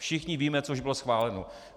Všichni víme, co už bylo schváleno.